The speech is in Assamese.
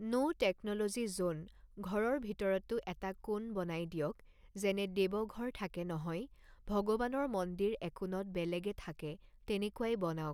ন টেকনলজি জ'ন, ঘৰৰ ভিতৰতো এটা কোণ বনাই দিয়ক, যেনে দেৱঘৰ থাকে নহয়, ভগৱানৰ মন্দিৰ একোণত বেলেগে থাকে, তেনেকুৱাই বনাওক।